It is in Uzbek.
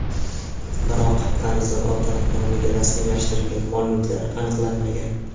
Biroq qarzdor ota nomiga rasmiylashtirilgan mol-mulklar aniqlanmagan.